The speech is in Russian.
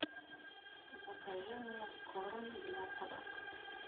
закажи мне корм для собак